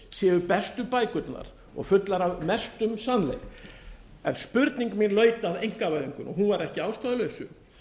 séu bestu bækurnar og fullar af mestum sannleik en spurning mín laut að einkavæðingunni og hún var ekki að ástæðulausu